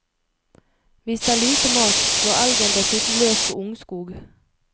Hvis det er lite mat, går elgen dessuten løs på ungskog.